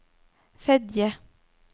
Fedje